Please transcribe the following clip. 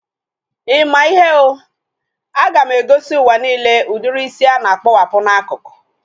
I maa ihe ọ? A ga m egosi ụwa nille udiri isi a na-akpowapu n'akụkụ